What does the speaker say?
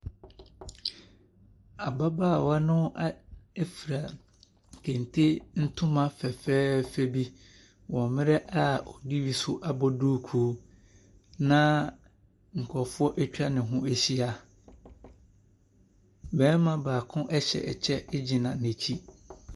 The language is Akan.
Ababaawa a no a fura kente ntoma fɛfɛɛfɛ bi wɔ mmerɛ a ɔde bi nso abɔ duku na nkurɔfo atwa ne ho ahyia. Barima baako ɛhyɛ ɛkyɛ agyina n’akyi.